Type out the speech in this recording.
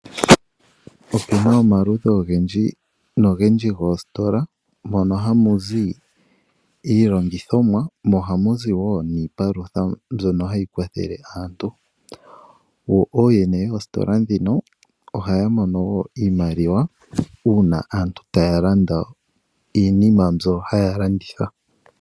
Otuna omaludhi ogendji goositola, mono hamuzi iilongithomwa, mo ohamuzi wo niipalutha mbyono hayi palutha aantu. Ooyene yoositola dhika ohaya mono wo iimaliwa, uuna aantu taya landa iinima mbyo haya landitha.